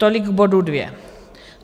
Tolik k bodu dvě.